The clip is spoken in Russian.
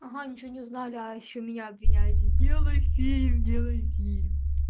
ага ничего не узнали а ещё меня обвиняете сделай фильм делай фильм